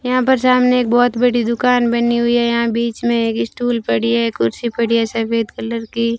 यहां पर सामने एक बहोत बड़ी दुकान बनी हुई है यहां बीच में एक स्टूल पड़ी है कुर्सी पड़ी है सफेद कलर की।